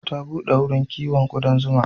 Ta buɗe wurin kown ƙudan zuma.